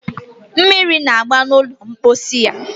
Mmiri na-agba n'ụlọ mposi ya